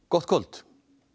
gott kvöld